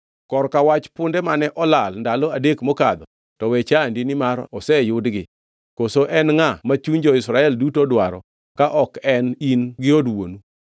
Kor ka wach punde mane olal ndalo adek mokadho to owe chandi nimar oseyudgi. Koso en ngʼa ma chuny jo-Israel duto dwaro ka ok en in gi od wuonu?”